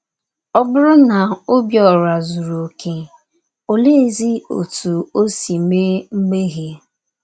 Ọ Bụrụ na Obiora Zuru Okè, Oleezi Otú O Si Mee Mmehie?